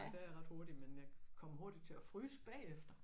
Der er jeg ret hurtig men jeg kommer hurtigt til at fryse bagefter